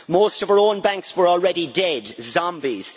Most of our own banks were already dead, zombies.